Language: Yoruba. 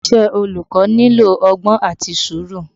Iṣẹ́ olùkọ́ nílò ọgbọ́n àti sùúrù